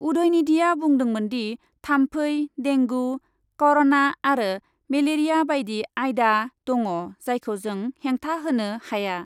उदयनिधिआ बुंदोंमोनदि, थाम्फै, डेंगु, करना आरो मेलेरिया बायदि आयदा दङ जायखौ जों हेंथा होनो हाया ।